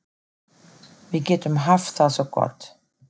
Við getum haft það svo gott.